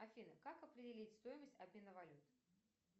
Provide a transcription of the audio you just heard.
афина как определить стоимость обмена валют